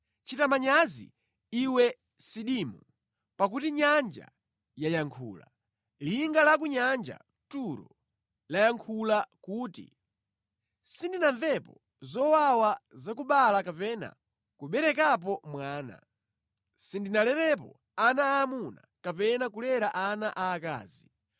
Chita manyazi, iwe Sidimu pakuti nyanja yayankhula, linga la ku nyanja (Turo) layankhula kuti, “Sindinamvepo zowawa za kubereka kapena kuberekapo mwana; sindinalerepo ana aamuna kapena kulera ana aakazi.”